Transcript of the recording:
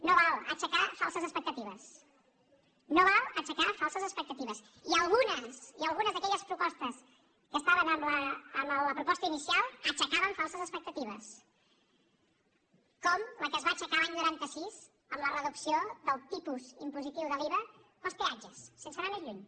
no val aixecar falses expec·tatives no val aixecar falses expectatives i algunes algunes d’aquelles propostes que estaven en la proposta inicial aixecaven falses expectatives com la que es va aixecar l’any noranta sis amb la reducció del tipus impositiu de l’iva per als peatges sense anar més lluny